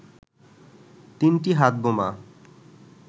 তিনটি হাতবোমা